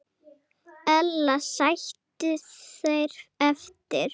Ella sætu þeir eftir.